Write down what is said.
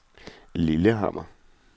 Lillehammer